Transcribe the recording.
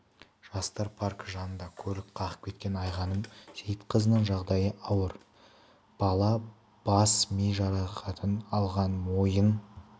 жастар паркі жанында көлік қағып кеткен айғаным сейітқазының жағдайы ауыр бала бас ми жарақатын алған мойын